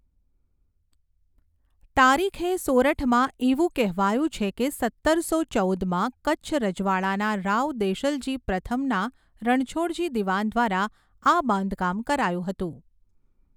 તારીખે સોરઠમાં એવું કહેવાયું છે કે સત્તરસો ચૌદમાં કચ્છ રજવાડાના રાવ દેશલજી પ્રથમના રણછોડજી દિવાન દ્વારા આ બાંધકામ કરાયું હતું.